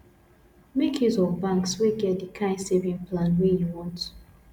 make use of banks wey get the kind saving plan wey you want